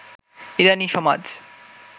ইরানী সমাজ